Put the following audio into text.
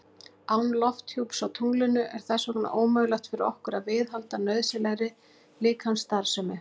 Án lofthjúps á tunglinu er þess vegna ómögulegt fyrir okkur að viðhalda nauðsynlegri líkamsstarfsemi.